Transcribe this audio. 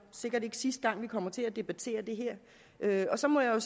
sikkert ikke sidste gang vi kommer til at debattere det her og så må jeg